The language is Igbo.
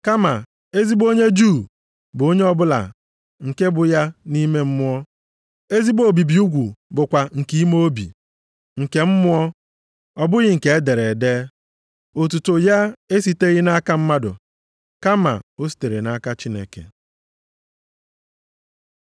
Kama ezigbo onye Juu bụ onye ọbụla nke bụ ya nʼime mmụọ. Ezigbo obibi ugwu bụkwa nke ime obi, nke mmụọ, ọ bụghị nke e dere ede. Otuto ya esiteghị nʼaka mmadụ kama o sitere nʼaka Chineke.